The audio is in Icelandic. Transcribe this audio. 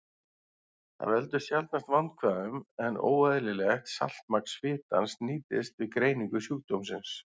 Það veldur sjaldnast vandkvæðum, en óeðlilegt saltmagn svitans nýtist við greiningu sjúkdómsins.